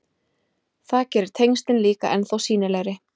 Það gerir tengslin líka ennþá sýnilegri.